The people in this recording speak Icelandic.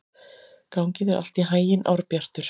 Gangi þér allt í haginn, Árbjartur.